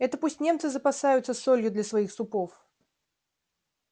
это пусть немцы запасаются солью для своих супов